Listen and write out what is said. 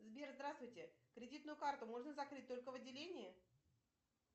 сбер здравствуйте кредитную карту можно закрыть только в отделении